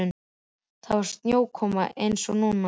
Þá var snjókoma eins og núna.